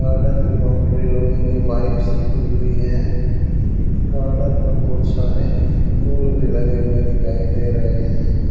Garden की boundary लोहे के पाइप से हुई है गार्डन में बहुत सारे पुल भी लगे हुए दिखाई दे रहे हैं।